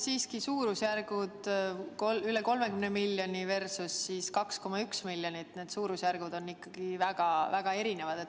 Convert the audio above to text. Siiski, suurusjärgud üle 30 miljoni versus 2,1 miljonit – need suurusjärgud on ikkagi väga-väga erinevad.